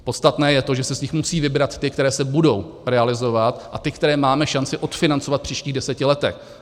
Podstatné je to, že se z nich musí vybrat ty, které se budou realizovat, a ty, které máme šanci odfinancovat v příštích deseti letech.